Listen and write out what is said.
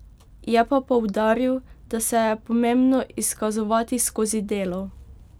Je pa poudaril, da se je pomembno izkazovati skozi delo.